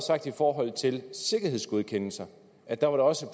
sagt i forhold til sikkerhedsgodkendelser at der var det også